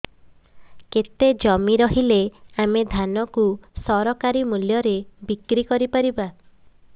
କେତେ ଜମି ରହିଲେ ଆମେ ଧାନ କୁ ସରକାରୀ ମୂଲ୍ଯରେ ବିକ୍ରି କରିପାରିବା